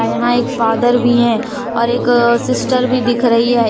यहां एक फादर भी है और एक सिस्टर भी दिख रही है।